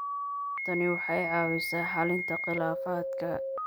Tani waxay caawisaa xallinta khilaafaadka.